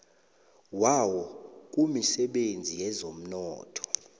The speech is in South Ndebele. wawo kumisebenzi yezomnotho